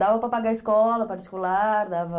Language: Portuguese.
Dava para pagar escola particular, dava...